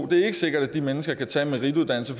det er ikke sikkert at de mennesker kan tage en merituddannelse